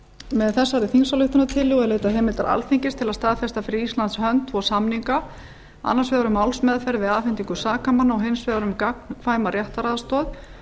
með þessari þingsályktunartillögu er leitað heimildar alþingis til að staðfesta fyrir íslands hönd tvo samning annars vegar um málsmeðferð við afhendingu sakamanna og hins vegar um gagnkvæma réttaraðstoð